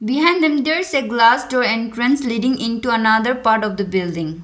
Behind them there is a glass door entrance leading into another part of the building.